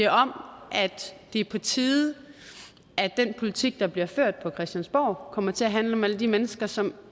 om at det er på tide at den politik der bliver ført på christiansborg kommer til at handle om alle de mennesker som